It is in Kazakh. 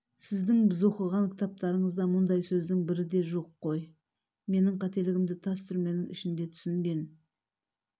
сіздің біз оқыған кітаптарыңызда мұндай сөздің бірі де жоқ қой мен қателігімді тас түрменің ішінде түсінген